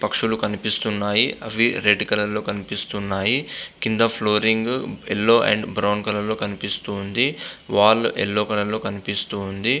పక్షులు కనిపిస్తున్నాయి. అవి రెడ్ కలర్ లో కనిపిస్తున్నాయి. క్రింద flooring yellow and brown colour లో కనిపిస్తున్నాది. వాల్ యెల్లో కలర్ లో కనిపిస్తోంది.